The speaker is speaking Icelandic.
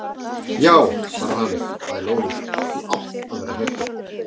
Já svarar hann, það er lóðið, þú átt að vera hræddur.